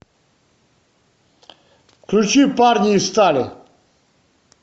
включи парни из стали